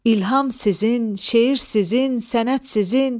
İlham sizin, şeir sizin, sənət sizin.